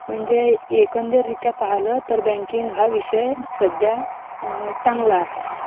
एकंदरीत पाहिलं तर बँकिंग हा विषय सध्या चांगला आहे